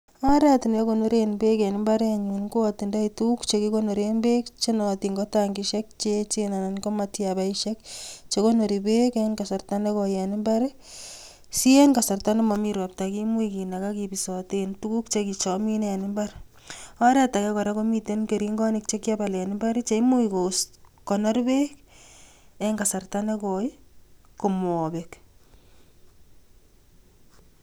Oret neakonoren beek en mbarenyun ko atindoi tukuk chekikonoren beek chenootin ko 'tangisiek' cheechen anan ko matiabaisiek chekoronor beek en kasarta nekoi en mbar si en kasarta nemomii ropta kimuch kinakaa kibisoten tuku cheamine en mbar ,oret ake kora komii keringonik chekiabal en mbar cheimuch kokonor beek en kasarta nekoi komobek.